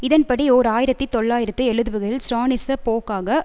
இதன் படி ஓர் ஆயிரத்தி தொள்ளாயிரத்து எழுபதுகளில் ஸ்ராலினிச போக்காக